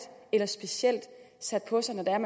eller specielt sat på sig når